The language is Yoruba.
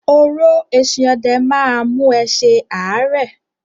“oró eesin ọdẹ ” má a mú ẹ se ààrẹ.